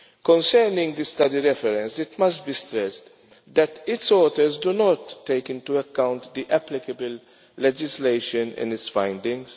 Concerning the study reference, it must be stressed that its authors do not take into account the applicable legislation in its findings.